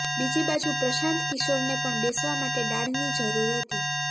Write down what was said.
બીજી બાજુ પ્રશાંત કિશોરને પણ બેસવા માટે ડાળની જરૂર હતી